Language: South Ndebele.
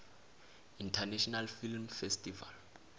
international film festival